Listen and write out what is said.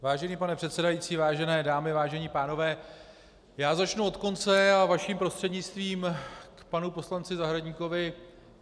Vážený pane předsedající, vážené dámy, vážení pánové, já začnu od konce a vaším prostřednictvím k panu poslanci Zahradníkovi.